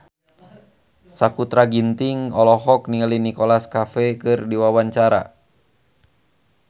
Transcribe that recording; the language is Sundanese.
Sakutra Ginting olohok ningali Nicholas Cafe keur diwawancara